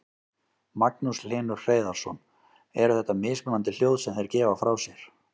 Magnús Hlynur Hreiðarsson: Eru þetta mismunandi hljóð sem þeir gefa frá sér?